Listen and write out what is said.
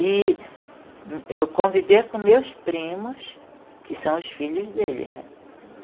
E eu convivi com meus primos, que são os filhos dele, né?